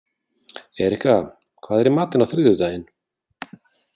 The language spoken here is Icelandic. Erika, hvað er í matinn á þriðjudaginn?